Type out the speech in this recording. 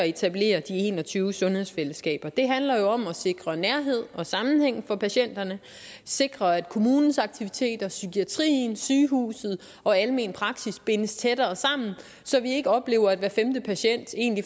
etablere de en og tyve sundhedsfællesskaber handler jo om at sikre nærhed og sammenhæng for patienterne sikre at kommunens aktiviteter psykiatrien sygehuset og almen praksis bindes tættere sammen så vi ikke oplever at hver femte patient